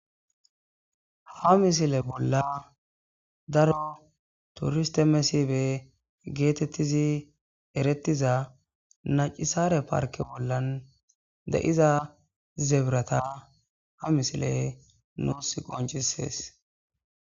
ha misile bolla daro turiste mesibe geetettizi erettiza nacisare parke bolla de7iza zebirata ha misile nuus qoncisees